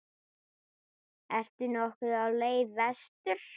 Ertu nokkuð á leið vestur?